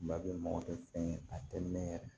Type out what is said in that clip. Ba bɛ mɔgɔ tɛ fɛn ye a tɛ mɛn yɛrɛ